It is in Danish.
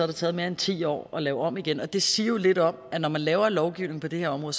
det taget mere end ti år at lave om igen det siger jo lidt om at når man laver en lovgivning på det her område